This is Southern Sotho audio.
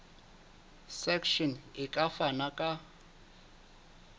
section e ka fana ka